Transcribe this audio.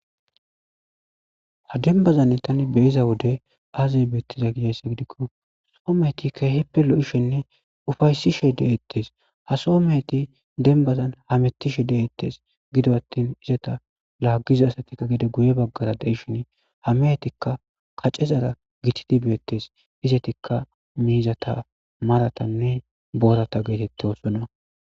Ha demibazani tani biza Wode aze betizayisa gikko Soho meheti keholippe loishenne upayissishe deetesi ha Soho meheti demibazani hametishe deetesi giddoni atini izeta lagiza asati guye bagara dishini ha mehetikka kacezara gitatidi beteteesi izetika meheta mizata maratanne borata getetosona